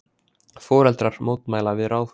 Foreldrar mótmæla við Ráðhúsið